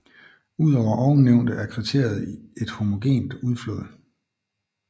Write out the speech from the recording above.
Udover ovennævnte er kriteriet et homogent udflåd